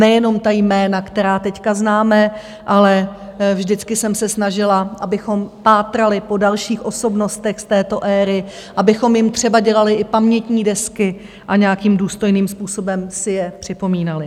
Nejenom ta jména, která teď známe, ale vždycky jsem se snažila, abychom pátrali po dalších osobnostech z této éry, abychom jim třeba dělali i pamětní desky a nějakým důstojným způsobem si je připomínali.